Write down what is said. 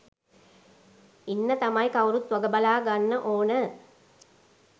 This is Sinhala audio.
ඉන්න තමයි කවුරුත් වගබලා ගන්න ඕන.